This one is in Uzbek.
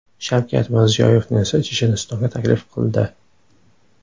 Shavkat Mirziyoyevni esa Chechenistonga taklif qildi .